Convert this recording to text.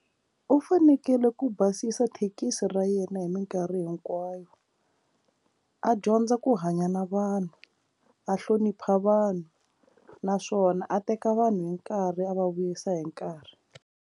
U fanekele ku basisa thekisi ra yena hi minkarhi hinkwayo a dyondza ku hanya na vanhu a hlonipha vanhu naswona a teka vanhu hi nkarhi a va vuyisa hi nkarhi.